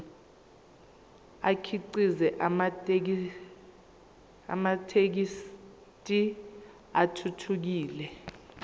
akhiqize amathekisthi athuthukile